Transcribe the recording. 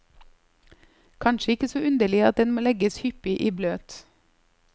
Kanskje ikke så underlig at den må legges hyppig i bløt.